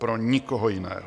Pro nikoho jiného!